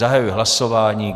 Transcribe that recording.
Zahajuji hlasování.